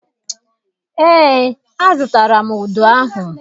Eé, azụtara m udu ahụ.